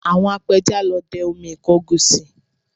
Àwọn apẹja lọ dẹ omi ìkọgùsì